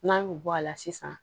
N'an y'o bɔ a la sisan